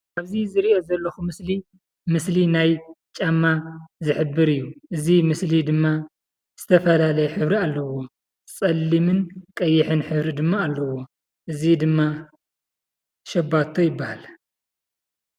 ኣብዚ ዝሪኦ ዘለኹ ምስሊ ምስሊ ናይ ጫማ ዝሕብር እዩ፡፡ እዚ ምስሊ ድማ ዝተፈላለየ ሕብሪ ኣለዎ፡፡ ፀሊምን ቀይሕን ሕብሪ ድማ ኣለዎ፡፡ እዚ ድማ ሸባቶ ይበሃል፡፡